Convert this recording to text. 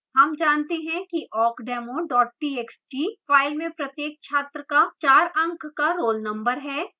हम जानते हैं कि awkdemo txt file में प्रत्येक छात्र का 4 अंक का roll number है